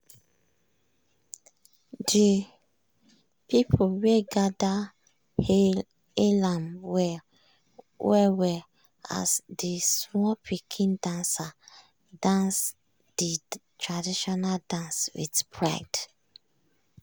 de pipu wey gather hail ahm well well as d small pikin dancer dance de traditional dance with pride.